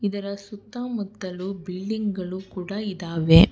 ಇದರ ಸುತ್ತಮುತ್ತಲು ಬಿಲ್ಡಿಂಗ್ ಗಳು ಕೂಡ ಇದಾವೆ.